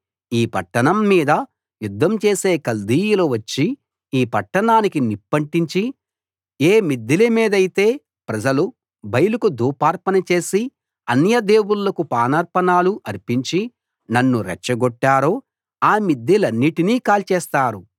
ఈ పట్టణం మీద యుద్ధం చేసే కల్దీయులు వచ్చి ఈ పట్టణానికి నిప్పంటించి ఏ మిద్దెల మీదైతే ప్రజలు బయలుకు ధూపార్పణ చేసి అన్యదేవుళ్ళకు పానార్పణలు అర్పించి నన్ను రెచ్చగొట్టారో ఆ మిద్దెలన్నిటినీ కాల్చేస్తారు